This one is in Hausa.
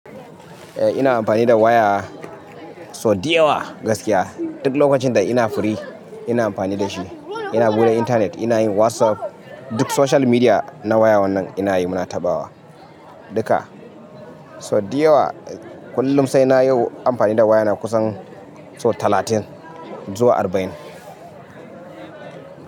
Eh ina amfani da waya sau diyawa gaskiya. Duk lokacin da ina firi ina amfani da shi. Ina buɗe internet, ina yin WhatsApp, duk social media na waya wannan ina yi muna taɓawa duka. Sau diyawa kullum sai na yi amfani da waya na kusan so talatin zuwa arba'in.